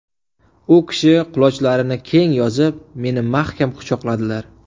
U kishi qulochlarini keng yozib, meni mahkam quchoqladilar.